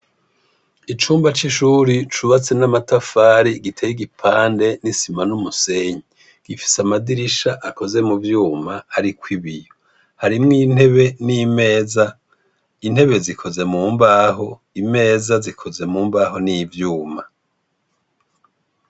Icumba c'ishure cubatse n'amatafari giteye igipande n'isima n'umusenyi. Gifise amadirisha akozwe mu vyuma ariko ibiyo. Harimwo intebe ni meza. Intebe zikoze mu mbaho, imeza zikoze mu mbaho n'ivyuma.